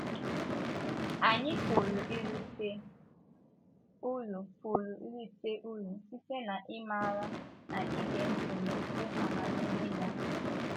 Ànyị pụrụ irite uru pụrụ irite uru site n’ịmara na ịge ntị n’okwu amamihe ya?